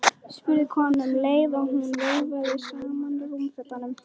spurði konan um leið og hún vöðlaði saman rúmfötunum.